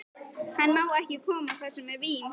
Hann má ekki koma þar sem er vín.